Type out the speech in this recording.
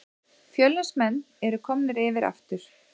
Fjölnismenn eru komnir yfir aftur